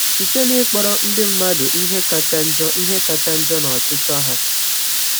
Site n’ịkpọrọ ndị mmadụ ihe kacha njọ ihe kacha njọ na ọchịchọ ha.